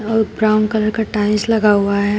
और brown colour का tiles लगा हुआ है।